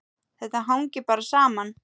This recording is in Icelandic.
Þetta hangir bara saman.